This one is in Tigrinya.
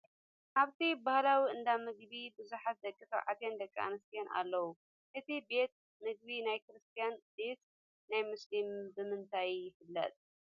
ኣብቲ ባህላዊ እንዳ ምግቢ ብዙሓት ደቂ ተባዕትዮን ደቂ ኣነስትዮን ኣለውዎ አቲ ቤት ምግቢ ናይ ከርስትያን ድዩስ ናይ ሙስሊም ብምንታይ ይፍለጥ?